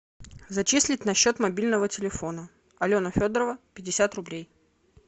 зачислить на счет мобильного телефона алена федорова пятьдесят рублей